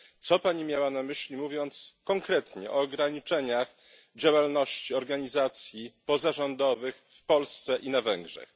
Co Pani miała na myśli, mówiąc konkretnie o ograniczeniach działalności organizacji pozarządowych w Polsce i na Węgrzech?